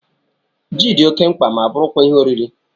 Jị dị oké mkpa ma bụrụ kwa Ihe oriri